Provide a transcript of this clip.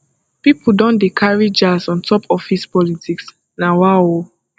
pipo don dey carry jazz on top office politics nawaoo